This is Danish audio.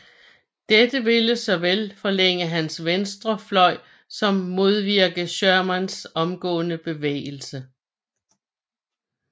Dette ville såvel forlænge hans venstre fløj som modvirke Shermans omgående bevægelse